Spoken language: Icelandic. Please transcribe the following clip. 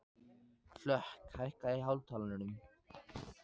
Hlökk, hækkaðu í hátalaranum.